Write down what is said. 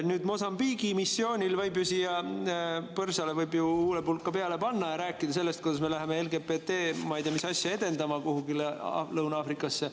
Nüüd, Mosambiigi missioonil võib ju – põrsale võib ju huulepulka peale panna – rääkida sellest, kuidas me läheme LGBT ma ei tea mis asja edendama kuhugi Lõuna-Aafrikasse.